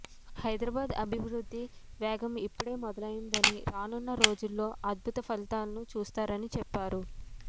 హైదరాబాద్ అభివృద్ధి వేగం ఇప్పుడే మొదలైందని రానున్న రోజుల్లో అద్భుత ఫలితాలను చూస్తారని చెప్పారు